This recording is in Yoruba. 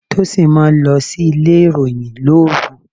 Tósìn máa ń lọ sílé ìròyìn lóru.